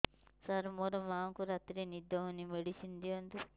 ସାର ମୋର ମାଆଙ୍କୁ ରାତିରେ ନିଦ ହଉନି ମେଡିସିନ ଦିଅନ୍ତୁ